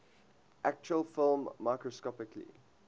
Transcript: actual film microscopically